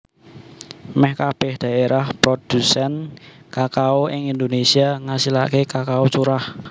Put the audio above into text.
Mèh kabèh dhaérah prodhusèn kakao ing Indonésia ngasilaké kakao curah